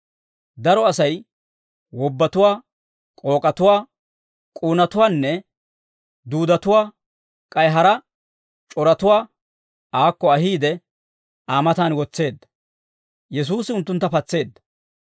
Daro Asay wobbatuwaa, k'ook'atuwaa, k'uunatuwaanne duudetuwaa, k'ay hara c'oratuwaa aakko ahiide, Aa mataan wotseedda. Yesuusi unttuntta patseedda.